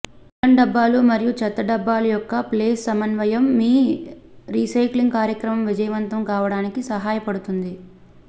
నీలం డబ్బాలు మరియు చెత్త డబ్బాలు యొక్క ప్లేస్ సమన్వయం మీ రీసైక్లింగ్ కార్యక్రమం విజయవంతం కావడానికి సహాయపడుతుంది